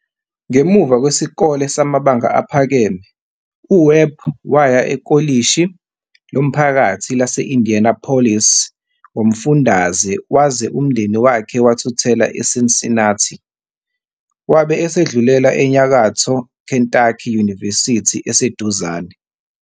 Ngemuva kwesikole samabanga aphakeme, uWebb waya ekolishi lomphakathi lase-Indianapolis ngomfundaze waze umndeni wakhe wathuthela eCincinnati. Wabe esedlulela eNyakatho Kentucky University eseduzane.